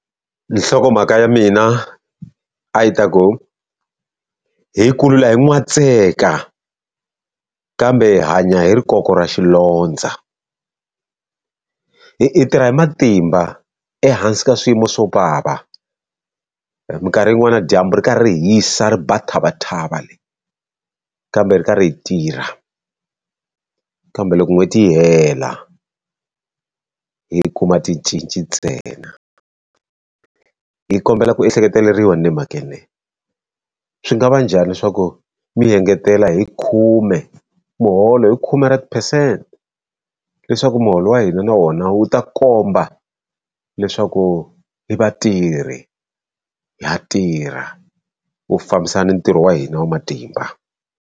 Nhlokomhaka ya mina a yi ta ku, hi kulula hi n'watseka kambe hi hanya hi rikoko ra xilondza. Hi hi tirha hi matimba ehansi ka swiyimo swo vava, minkarhi yin'wani na dyambu ri kha ri hisa ri ba thavathava leyi, kambe hi karhi hi tirha. Kambe loko n'hweti yi hela hi kuma ticinci ntsena. Hi kombela ku ehleketeleriwa mhakeni leyi. Swi nga va njhani swa ku mi hi engetela hi khume muholo hi khume ra ti-percent, leswaku muholo wa hina na wona wu ta komba leswaku hi vatirhi ha tirha, wu fambisana na ntirho wa hina wa matimba.